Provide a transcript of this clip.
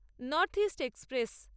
north east express